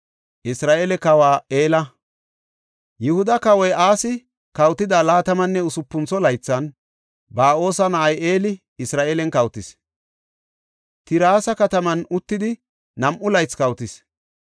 Yihuda Kawoy Asi kawotida laatamanne usupuntho laythan, Ba7oosa na7ay Eli Isra7eelen kawotis. Tirsa kataman uttidi nam7u laythi kawotis.